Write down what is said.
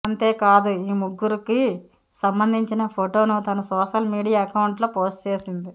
అంతేకాదు ఈ ముగ్గురుకి సంబంధించిన ఫోటోను తన సోషల్ మీడియా అకౌంట్లో పోస్ట్ చేసింది